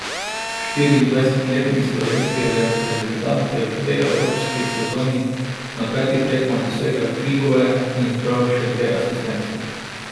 Štiriindvajsetletni slovenski reprezentant je v tej evropski sezoni na petih tekmah dosegel tri gole in zbral še dve asistenci.